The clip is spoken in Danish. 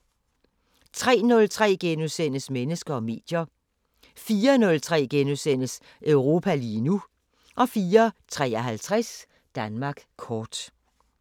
03:03: Mennesker og medier * 04:03: Europa lige nu * 04:53: Danmark kort